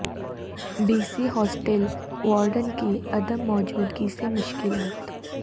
be C hostel warden کی عدم موجودگی سے مشکلات